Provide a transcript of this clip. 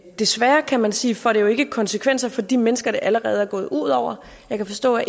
desværre kan man sige får det jo ikke konsekvenser for de mennesker det allerede er gået ud over jeg kan forstå at